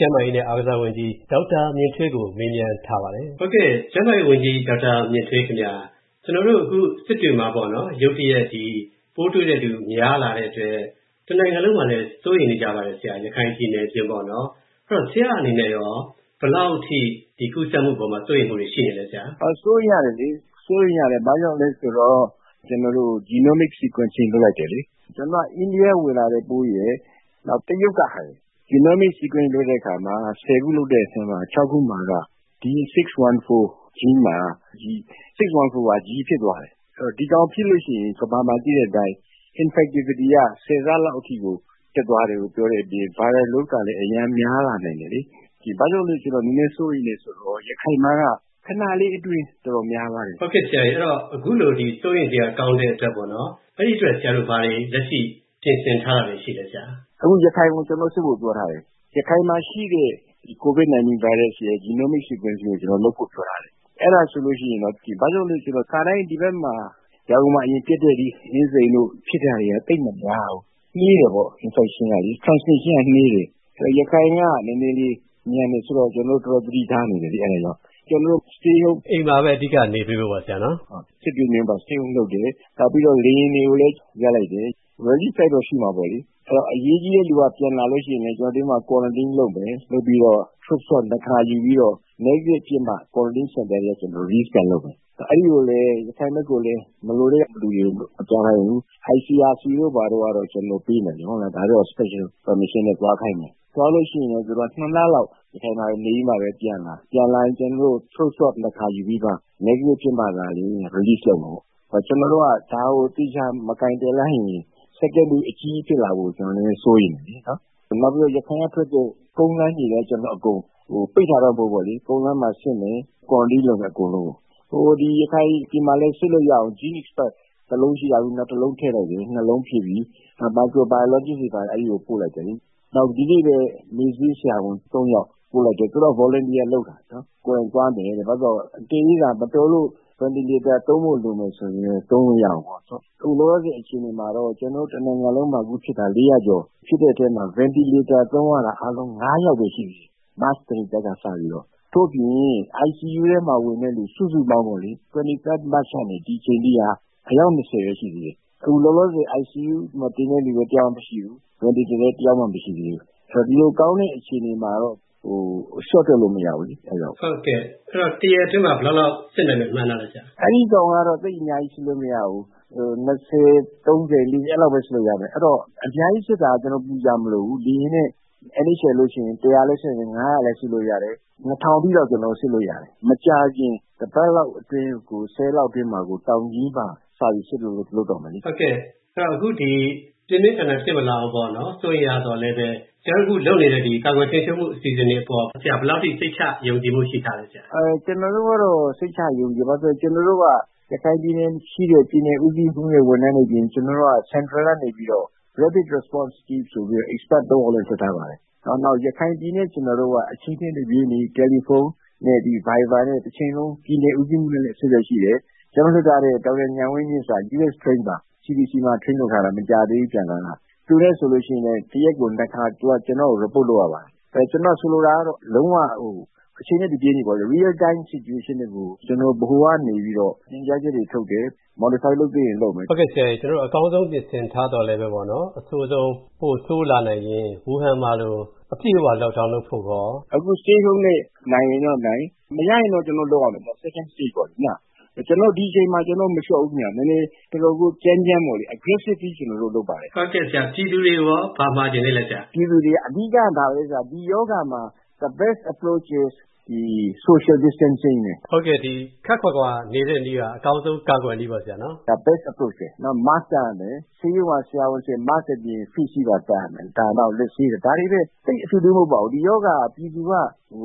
ျန်းမာရေးနဲ့ အားကစားဝန်ကြီး ဒေါက်တာ မြင့်ထွေးကို ကိုဝင်းမင်းက မေးမြန်းထားပါတယ်။ ကိုဝင်းမင်း ။ ။ ကျန်းမာရေးဝန်ကြီး ဒေါက်တာ မြင့်ထွေး ခင်ဗျ၊ ကျနော်တို့အခု စစ်တွေမှာ ရုတ်တရက် ပိုးတွေ့သူ များလာတဲ့အတွက် တနိုင်ငံလုံးမှာလည်း စိုးရိမ်နေပါတယ်၊ ရခိုင်ပြည်နယ် အပြင်ပေါ့နော် အဲဒီတော့ ဆရာ့အနေနဲ့ရော ဒီကူးစက်မှုအပေါ်မှာ ဘယ်လောက်ထိ စိုးရိမ်မှုတွေ ရှိနေသလဲဆရာ။ ဒေါက်တာ မြင့်ထွေး။ ။ စိုးရိမ်ရတယ်လေ၊ ဘာကြောင့်လဲဆိုတော့ ကျွန်တော်တို့ Genomic Sequencing လုပ်လိုက်တယ်လေ၊ ကျနော်တို့ အိန္ဒိယက ဝင်လာတဲ့ပိုးရယ် နောက်တရုတ်က ဝင်လာတဲ့ပိုးရယ် Genomic Sequencing လုပ်လိုက်တဲ့အခါမှာ ခု လုပ်တဲ့အထဲမှာ ခုက D614 Gene မှာ၊ D614 က G ဖြစ် ဖြစ်သွားတယ်။ ဆိုတော့ ဒီကောင် ဖြစ်လို့ရှိရင် ကမ္ဘာမှာ သိတဲ့အတိုင်း infectivity က ၁၀ ဆလောက်အထိကို တက်သွားတယ်လို့ ပြောတဲ့အပြင် Viral Load ကလည်း အရမ်းများလာနိုင်တယ်လေ။ ဘာကြောင့်လဲဆိုတော့ နည်းနည်းစိုးရိမ်တယ်ဆိုတာက ရခိုင်မှာက ခဏလေးအတွင်း တော်တေ်ာများသွားတယ်။ ကိုဝင်းမင်း ။ ။ ဟုတ်ကဲ့ အခုလို စိုးရိမ်စရာကောင်းတဲ့အတွက် အဲဒီအတွက် ဘာတွေ လက်ရှိ ပြင်ဆင်ထားတာတွေ ရှိသလဲ။ ဒေါက်တာ မြင့်ထွေး။ ။ အခု ရခိုင်ကို ကျနော်တို့ စစ်ဖို့ ပြောထားတယ်။ ရခိုင်မှာ ရှိတဲ့ COVID- 19 ဗိုင်းရပ်စ်ရဲ့ Genome Sequencing ကို လုပ်ဖို့ပြောထားတယ်။ ဘာကြောင့်လဲဆိုတော့ ခါတိုင်း ဒီဘက် ရန်ကုန်မှာဖြစ်တဲ့ ဒီ အင်းစိန်တို့ ဖြစ်တာတွေက သိပ်မများဘူး၊ နှေးတယ်ပေါ့ Infection ကလေ ၊ transmission က နှေးတယ်။ ဆိုတော့ ရခိုင်က နည်းနည်းလေး မြန်တယ်ဆိုတော့ ကျနော်တို့ တော်တော် သတိထားနေတယ်။ အဲ့ဒါကြောင့်၊ ကျွန်တော်တို့ Stay Home ။ ကိုဝင်းမင်း ။ ။ အိမ်မှာပဲ အဓိက နေပေးဖို့ပေါ့နော် ဆရာ။ ဒေါက်တာ မြင့်ထွေး။ ။ ဟုတ်၊ စစ်တွေမှာက Stay Home လုပ်တယ်။ နောက်ပြီးတော့ လေယာဉ်တွေကိုလည်း ရပ်လိုက်တယ်။ Relief flight တော့ ရှိမှာပေါ့လေ။ အရေးကြီးတဲ့လူတွေက ပြန်လာရင်လည်း Quarantine လုပ်မယ်၊ လုပ်ပြီးတော့ Throat Swab နှစ်ခါယူပြီးတော့၊ Negative ဖြစ်မှ Quarantine Center ကနေ Release ပြန်လုပ်မယ်။ ပြီးတော့ ရခိုင်ဘက်ကိုလည်း မလိုတဲ့လူတွေကို မသွားခိုင်းဘူး။ ICRC တို့ကတော့ ကျနော်တို့ပေးမယ် ဒါကတော့ Special Permission နဲ့ သွားခိုင်းမယ် ။ သွားရင်လည်း သူက လလောက် ရခိုင်မှာ နေပြီးတော့မှ ပြန်လာ၊ ပြန်လာရင်လည်း ကျနော်တို့ Throat Swab နှစ်ခါယူပြီးတော့မှ၊ Negative ဖြစ်မှ သာလျှင်၊ Release လုပ်မှာပေါ့နော်။ ကျွန်တော်တို့က ဒါကို သေချာမကိုင်တွယ်လိုက်ရင် Second Wave အကြီးကြီးဖြစ်လာမှာကို ကျနော်တို့ စိုးရိမ်တယ်လေ။ နောက်ပြီးတော့ ရခိုင်ကထွက်တဲ့ ကုန်းလမ်းရေလမ်းအကုန် ပိတ်တာတော့ မဟုတ်ဘူး၊ ကုန်းလမ်းမှာလည်း စစ်မယ်၊ Quarantine လုပ် မယ်၊ အကုန်လုံးကို။ ရခိုင်မှာလည်း စစ်လို့ရအောင် GeneXpert စက်တစ်လုံးရှိတာကနေ နောက်တစ်လုံးထည့်လိုက်တယ် စက် လုံးဖြစ်ပြီ။ နောက်ပြီး Microbiologist တွေကိုလည်း အဲဒီကို ပို့လိုက်တယ်လေ။ နောက်ဒီနေ့ပဲ မေ့ဆေးဆရာဝန် ယောက်ကိုပို့လိုက်တယ် သူတို့က Volunteer လုပ်တာ ၊ ကိုယ်တိုင်သွားမယ်တဲ့။ အကယ်၍ မတော်လို့ Ventilator သုံးဖို့လိုတယ်ဆိုရင်လည်း Ventilator သုံးလို့ရအောင်ပေါ့နော်။ အခု လောလောဆယ်အခြေအနေမှာတော့ ဒီမှာ ကျနော်တို့ တနိုင်ငံလုံးမှာဖြစ်တာ ကျော် ဖြစ်တဲ့အထဲမှာ Ventilator သုံးရတာ အားလုံး ယောက်ပဲ ရှိသေးတယ်၊ မတ်လ 23rd ကနေ စပြီးတော့။ ဒါ့အပြင် ICU ထဲမှာ ဝင်တာ စုစုပေါင်းပေါ့လေ ၂၃ မတ်ကနေ ဒီအချိန်အထိက အယောက် ပဲ ရှိသေးတယ်။ အခုလောလောဆည် ICU ထဲမှာ တင်တဲ့လူလည်း တစ်ယောက်မှ မရှိသေးဘူး။ Ventilator တင်တာလည်း တစ်ယောက်မှ မရှိသေးဘူး။ ဆိုတော့ လျှော့တွက်လို့တော့ မရဘူးလေ။ ကိုဝင်းမင်း ။ ။ ဟုတ်ကဲ့ အဲဒီတော့ တစ်ရက်အတွင်းမှာ ဘယ်လောက်လောက် စစ်နိုင်မယ် မှန်းထားသလဲဆရာ။ ဒေါက်တာ မြင့်ထွေး။ ။ အဲဒါကတော့ သိပ်အများကြီး စစ်လို့မရဘူး ၂၀၊ ၃၀၊ ၄၀ အဲလောက်ပဲ စစ်လို့ရမယ်။ အဲဒီတော့ အများကြီးစစ်တာကတော့ ကျနော်တို့ ပူစရာမလိုဘူး။ လေယာဉ်နဲ့ NHL တို့လိုကို ပို့စစ်လျှင် လည်း စစ်နိုင်တယ် လည်း စစ်လို့ရတယ်။ အထိတော့ ကျနော်တို့ စစ်လို့ရတယ် ။ မကြာခင် တစ်ပတ်လောက်အတွင်းကို ရက်လောက်အတွင်းမှာကို တောင်ကြီးမှာ စပြီး စစ်ဖို့လုပ်တော့မယ်လေ။ ကိုဝင်းမင်း ။ ။ အခုပြင်းပြင်းထန်ထန် ဖြစ်မလာအောင် စိုးရိမ်ရသော်လည်း ဆရာတို့အခု လုပ်နေတဲ့ ကာကွယ်ထိန်းချုပ်မှု အစီအစဉ်တွေအပေါ် ဆရာတို့ ဘယ်လောက်အထိ စိတ်ချ ယုံကြည်မှု ရှိထားသလဲ။ ဒေါက်တာ မြင့်ထွေး။ ။ ကျနော်တို့ကတော့ စိတ်ချ ယုံကြည်တယ်။ ဘာလို့လဲဆိုတော့ ရခိုင်ပြည်နယ်မှာ ရှိတဲ့ ပြည်နယ်ဦးစီးမှူး တွေ ဝန်ထမ်းတွေအပြင် ကျနော်တို့က Central ကနေပြီးတော့ Rapid Response Team ဆိုပြီးတော့ Expert ယောက်လည်း လွှတ်ထားပါတယ်။ နောက်ပြီးတော့ ရခိုင်ပြည်နယ်နဲ့ ကျနော်တို့က အချိန်နဲ့ တပြေးညီ တယ်လီဖုန်းနဲ့ အင်တာနက်ဗိုင်ဘာ နဲ့ တချိန်လုံး ပြည်နယ်ဦးစီးမှူးနဲ့လည်း အဆက်အသွယ်ရှိပါတယ်။ ကျွန်တော်တို့ လွှတ်ထားတဲ့ ဒေါက်တာ ဉာဏ်ဝင်းမြင့်က U.S train ပါ၊ CDC မှာ train လုပ်ထားတာ၊ မကြာသေးဘူး ပြန်လာတာ။ သူနဲ့ဆိုရင် တစ်ရက်ကို ခါ သူက ကျနော့်ကို Report လုပ်ရပါတယ်။ ကျွန်တော်ဆိုလိုတာက လုံးဝကို အချိန်နဲ့ တပြေးညီ Real Time Situation ကို ကျနော်ဗဟိုကနေပြီးတော့ ညွှန်ကြားချက်တွေ ထုတ်တယ်၊ Modify လုပ်သင့်ရင်လုပ်မယ်။ ကိုဝင်းမင်း ။ ။ ဟုတ်ကဲ့ဆရာရေ ကျနော်တို့ အကောင်းဆုံးပြင်ဆင်ထားသော်လည်း အဆိုးဆုံး ပိုဆိုးလာနိုင်ရင် ဝူဟန် မှာလို အပြည့်အဝ Lock down လုပ်ဖို့ကိုရော။ ဒေါက်တာ မြင့်ထွေး။ ။ အခု Stay Home နဲ့ နိုင်ရင်နိုင်၊ မရရင် ကျနော်တို့ လုပ်ရမယ်၊ Second Stage ့ ပေါ့နော် ။ ဒါပေမယ့် ဒီအချိန်မှာ ကျနော်တို့ မလျှော့ဘူးခင်ဗျ။ နည်းနည်းတော်တော်ကို ကြမ်းကြမ်းပေါ့လေ၊ Aggressively ကျနော်တို့လုပ်ပါတယ်။ ကိုဝင်းမင်း ။ ။ ဟုတ်ကဲ့ဆရာ ပြည်သူတွေကိုရော ဘာမှာချင်သေးသလဲ။ ဒေါက်တာ မြင့်ထွေး။ ။ အဓိကတော့ ဒါပဲ၊ ဒီရောဂါမှာ The Best Approach is ဒီ Social Distancing ပဲ။ ကိုဝင်းမင်း ။ ။ ဟုတ်ကဲ့ ခပ်ခွာခွာနေတဲ့နည်းက အကောင်းဆုံးကာကွယ်နည်းပဲပေါ့နော် ဆရာ။ ဒေါက်တာ မြင့်ထွေး။ ။ ဒါက The Best Approach ပဲ ။ နောက် Mask တပ်ရမယ်၊ ဆေးရုံကဆရာဝန်တွေက Mask အပြင် Face shield ပါ တပ်ရမယ်၊ နောက် လက်ဆေးတာ။ ဒါတွေပဲ သိပ်ထွေထွေထူးထူးမဟုတ်ပါဘူး။ ဒီရောဂါ ကို ပြည်သူက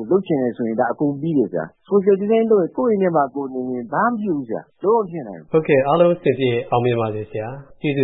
လုပ်ချင်တယ်ဆိုရင် အကုန်ပြီးတယ်ဗျာ၊ Social Distancing လုပ်လျှင်၊ ကိုယ့်အိမ်ထဲမှာ ကိုယ်နေလျှင် ဒါက ဘာမှမဖြစ်ဘူး၊ လုံးဝမဖြစ်နိုင်ဘူး။ ကိုဝင်းမင်း ။ ။ ဟုတ်ကဲ့ အားလုံးအဆင်ပြေအောင်မြင်ပါစေဆရာ ကျေးဇူး